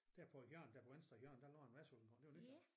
Der på hjørnet der på venstre hjørne der lå et værtshus engang gjorde der ikke det